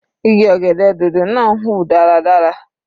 Igi ọ̀gẹ̀dẹ̀ dòdò náà ń hùn dáradára.